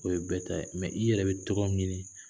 O ye bɛɛ ta ye nka mɛ i yɛrɛ bɛ tɔgɔ ɲini